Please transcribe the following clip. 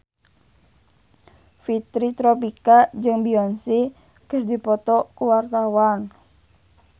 Fitri Tropika jeung Beyonce keur dipoto ku wartawan